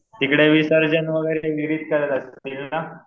तिकडे विसर्जन वैगेरे विहिरित करत असतील ना.